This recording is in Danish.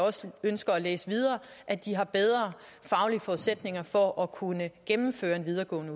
ønsker at læse videre at de har bedre faglige forudsætninger for at kunne gennemføre en videregående